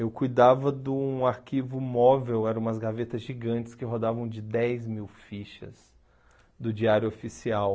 Eu cuidava de um arquivo móvel, eram umas gavetas gigantes que rodavam de dez mil fichas do diário oficial.